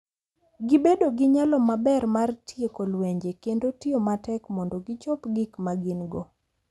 Gibedo gi nyalo maber mar tieko lwenje kendo tiyo matek mondo gichop gik ma gin-go.